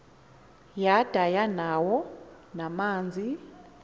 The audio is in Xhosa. yada yanawo namanzi